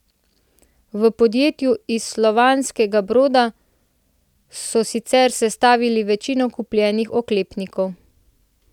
V podjetju iz Slavonskega Broda so sicer sestavili večino kupljenih oklepnikov.